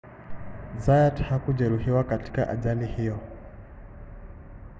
zayat hakujeruhiwa katika ajali hiyo